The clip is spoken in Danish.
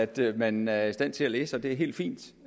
da at man er i stand til at læse og det er helt fint